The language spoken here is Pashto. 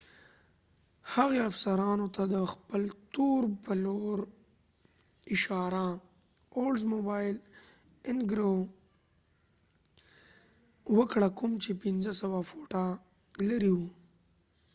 هغې افیسرانو ته د خپل تور oldsmobile intrigue به لور اشاره وکړه کوم چې 500 فوټه لرې ول